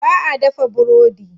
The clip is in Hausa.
Ba a dafa burodi.